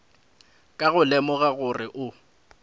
ka go lemoga gore o